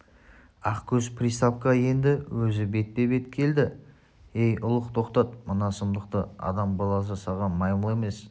ақкөз приставқа енді өзі бетпе-бет келді ей ұлық тоқтат мына сұмдықты адам баласы саған маймыл емес